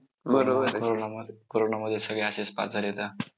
corona मध्ये सगळे असेच pass झालेत.